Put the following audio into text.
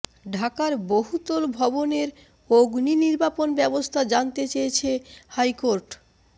ঢাকার বহুতল ভবনের অগ্নি নির্বাপণ ব্যবস্থা জানতে চেয়েছে হাইকোর্ট